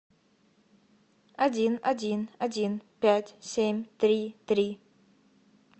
один один один пять семь три три